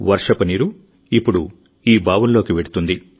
వర్షపు నీరు ఇప్పుడు ఈ బావులలోకి వెళ్తుంది